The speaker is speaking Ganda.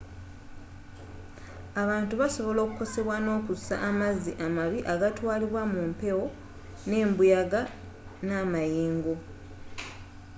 abantu basobola okukosebwa nokussa amazzi amabi agatwalibwa mumpewo nembuyaga namayengo